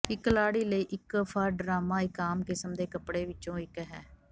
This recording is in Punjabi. ਇੱਕ ਲਾੜੀ ਲਈ ਇੱਕ ਫਰ ਡਰਾਮਾ ਇੱਕ ਆਮ ਕਿਸਮ ਦੇ ਕੱਪੜੇ ਵਿੱਚੋਂ ਇੱਕ ਹੈ